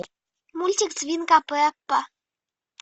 мультик свинка пеппа